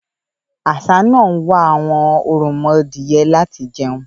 Àṣá náà ń wá àwọn òròmọdìyẹ láti jẹun.